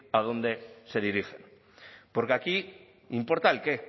a dónde se dirigen porque aquí importa el qué